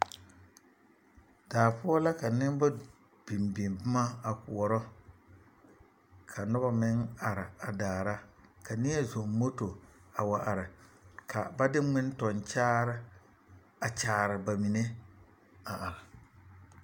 Daa poɔ la ka noba biŋ biŋ boma a koɔrɔ ka noba meŋ are a daara ka neɛ zɔŋ moto a wa are ka ba de ŋmentɔŋkyaare a kyaare ba mine a are.